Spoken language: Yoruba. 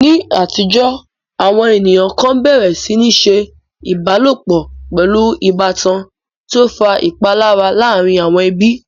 Ní àtijọ́, àwọn ènìyàn kan bẹ̀rẹ̀ sí ní ṣe ìbálòpọ̀ pẹ̀lú ìbátan, tí ó ń fa ìpalára láàárín àwọn ẹbí.